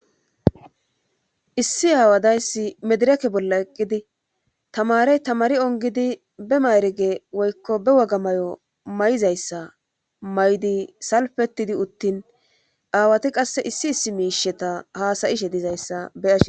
issi aawadayssi medireke bolla eqqidi tamarey tamari ongidi be mayrege woykko be wagamay7o may7izayssa maydi salfetidi uttin aawati qasse issi issi miisheta haasayishe dizayssa beahe